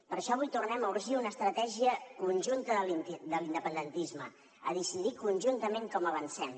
per això avui tornem a urgir una estratègia conjunta de l’independentisme a decidir conjuntament com avancem